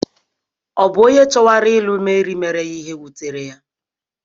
Ọ̀ bụ onye chowara ilu Mary mere ihe wutere ya?